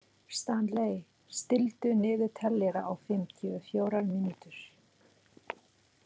Stanley, stilltu niðurteljara á fimmtíu og fjórar mínútur.